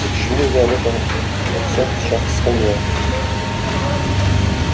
почему я об этом обо всем сейчас вспомнила